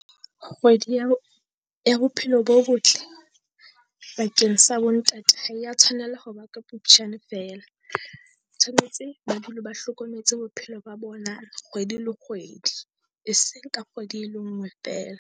Kgwedi ya ho ya bophelo bo botle bakeng sa bo ntate ha ya tshwanela ho ba ka Phupjane felea. Tshwanetse ba dule ba hlokometse bophelo ba bona kgwedi le kgwedi e seng ka kgwedi e le ngwe feela.